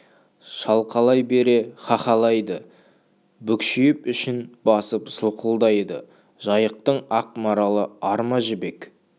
шалқалай бере хахалайды бүкшиіп ішін басып сылқылдайды жайықтың ақ маралы ар ма жібек